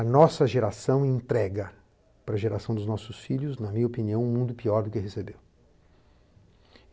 A nossa geração entrega para a geração dos nossos filhos, na minha opinião, um mundo pior do que recebeu.